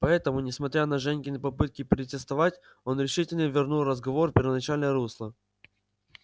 поэтому несмотря на женькины попытки протестовать он решительно вернул разговор в первоначальное русло